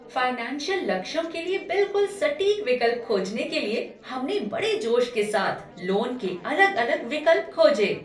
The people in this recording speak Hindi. फाइनेंशियल लक्ष्यों के लिए बिल्कुल सटीक विकल्प खोजने के लिए हमने बड़े जोश के साथ लोन के अलग अलग विकल्प खोजे।